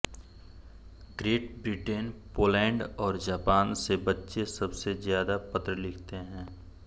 great Britain Poland और Japan से बच्चे सबसे ज्यादा पत्र लिखते हैं